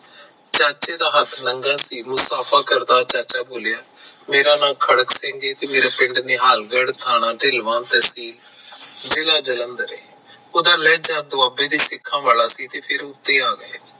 ਚਾਚੇ ਦਾ ਹੱਥ ਨੰਗਾ ਸੀ ਚਾਚਾ ਬੋਲਿਆ ਮੇਰਾ ਨਾਂਅ ਖੜਕ ਸਿੰਘ ਤੇ ਮੇਰੇ ਪਿੰਡ ਨਿਹਾਲਗੜ ਤੇ ਥਾਣਾ ਧੇਲਵਾ ਜਿਲਾ ਜਲੰਧਰ ਤੇ ਉਹਦਾ ਲਹਿਜਾ ਸਿਖਾਂ ਵਾਲਾ ਸੀ